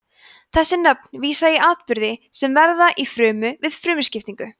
þessi nöfn vísa í atburði sem verða í frumu við frumuskiptingu